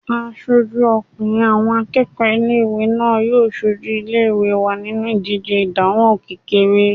Aṣojú ọkùnrin àwọn akẹ́kọ̀ọ́ ilé-ìwé náà yóò sojú ilé-ìwé wa nínu ìdíje ìdánwò kékeré